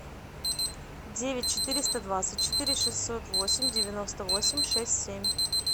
девять четыреста двадцать четыре шестьсот восемь девяносто восемь шесть семь